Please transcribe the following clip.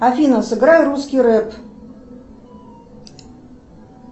афина сыграй русский рэп